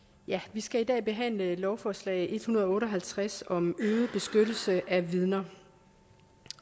vi skal i dag behandle lovforslag en hundrede og otte og halvtreds om øget beskyttelse af vidner